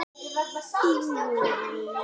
Það stefnir allt í það.